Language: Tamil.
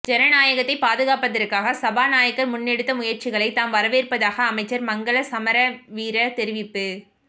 ஜனநாயகத்தை பாதுகாப்பதற்கு சபாநாயகர் முன்னெடுத்த முயற்சிகளை தாம் வரவேற்பதாக அமைச்சர் மங்கள சமரவீர தெரிவிப்பு